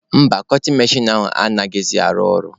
Mba, kọtin mechin ahụ anaghịzị arụ ọrụ.